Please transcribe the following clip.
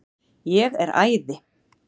Ég er æði.